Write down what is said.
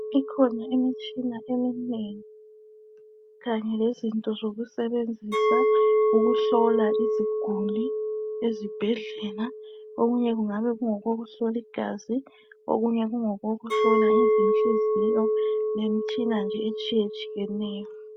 Ikhona imitshina eminengi kanye lezinto zokusebenzisa ukuhlola iziguli ezibhedlela. Okunye kungabe kungokokuhlola igazi okunye kungokokuhlola izinhliziyo lemitshina nje etshiyetshiyeneyo.